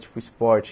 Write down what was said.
Tipo, esporte.